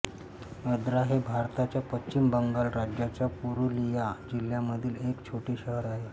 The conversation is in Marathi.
अद्रा हे भारताच्या पश्चिम बंगाल राज्याच्या पुरुलिया जिल्ह्यामधील एक छोटे शहर आहे